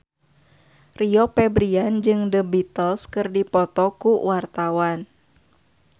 Rio Febrian jeung The Beatles keur dipoto ku wartawan